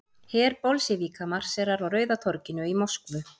Her Bolsévíka marserar á Rauða torginu í Moskvu.